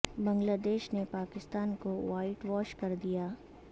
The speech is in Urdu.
بنگلہ دیش نے پاکستان کو وائٹ واش کر دیا